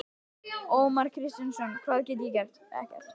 Ómar Kristjánsson: Hvað get ég gert?